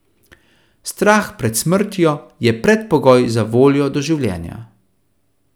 Strah pred smrtjo je predpogoj za voljo do življenja.